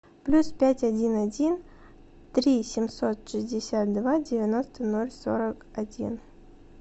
плюс пять один один три семьсот шестьдесят два девяносто ноль сорок один